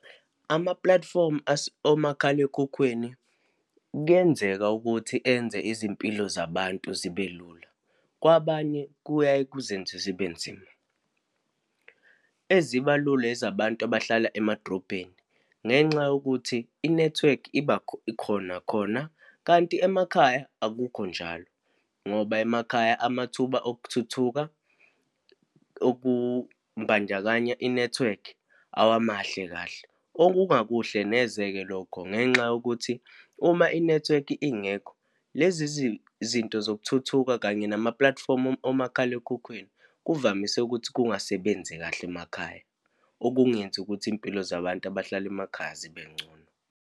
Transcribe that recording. Amapulatifomu omakhalekhukhwini kuyenzeka ukuthi enze izimpilo zabantu zibe lula, kwabanye kuyaye kuzenze zibe nzima. Eziba lula ezabantu abahlala emadrobheni, ngenxa yokuthi inethiwekhi iba khona, khona. Kanti emakhaya akukho njalo, ngoba emakhaya amathuba okuthuthuka okubandakanya inethiwekhi awamahle kahle. Okungakuhle neze-ke lokho, ngenxa yokuthi uma inethiwekhi ingekho lezi zinto zokuthuthuka, kanye namapulatifomu omakhalekhukhwini kuvamise ukuthi kungasebenzi kahle emakhaya, okungenzi ukuthi iy'mpilo zabantu abahlala emakhaya zibe ngcono.